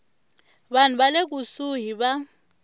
vanhu va le kusuhi va